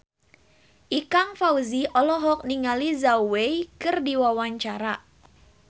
Ikang Fawzi olohok ningali Zhao Wei keur diwawancara